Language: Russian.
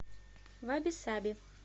ваби саби